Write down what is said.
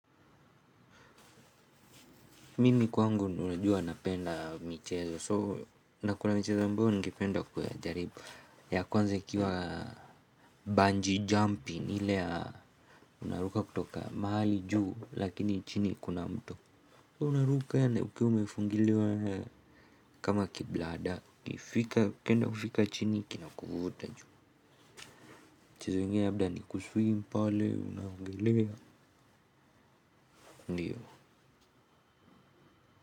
Mimi kwangu huwa najua napenda michezo, so na kuna michezo ambayo ningependa kuijaribu. Ya kwanza ikiwa bungee jumping ile ya unaruka kutoka mahali juu lakini chini kuna mto unaruka lakini umefungiliwa kama kiblada, ukifika ukienda kufika chini kinakuvuta juu mchezo ingine labda ni kuswim pale, unaogelea, ndiyo.